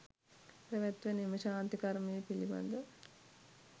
පැවැත්වෙන එම ශාන්ති කර්මය පිළිබඳ